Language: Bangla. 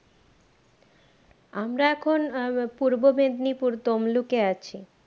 আমরা এখন আহ আহ পূর্বমেদিনীপুর তমলুকে আছি